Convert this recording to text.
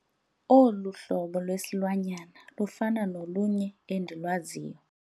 Olu hlobo lwesilwanyana lufana nolunye endilwaziyo.